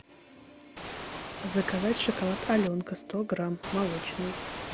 заказать шоколад аленка сто грамм молочный